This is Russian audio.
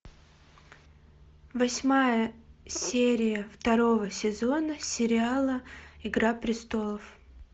восьмая серия второго сезона сериала игра престолов